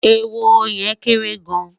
ehoro yen kere gaan